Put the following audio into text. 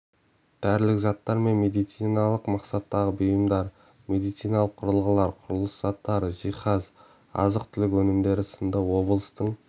дәрілік заттар мен медициналық мақсаттағы бұйымдар медициналық құрылғылар құрылыс заттары жиһаз азық-түлік өнімдері сынды облыстың